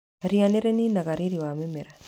Ria nĩ rĩ ninaga riri wa mĩmera.